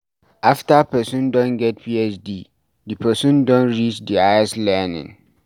After person don get Phd, di person don reach di higest learning